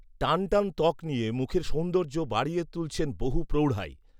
টানটান ত্বক নিয়ে মুখের সৌন্দর্য বাড়িয়ে তুলছেন বহু প্রৌঢ়াই